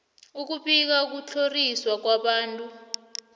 ukubika ukutlhoriswa kwabantu